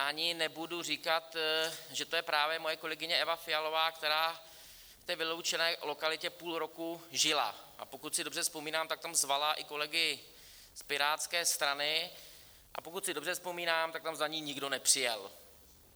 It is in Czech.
Ani nebudu říkat, že to je právě moje kolegyně Eva Fialová, která v té vyloučené lokalitě půl roku žila, a pokud si dobře vzpomínám, tak tam zvala i kolegy z Pirátské strany, a pokud si dobře vzpomínám, tak tam za ní nikdo nepřijel.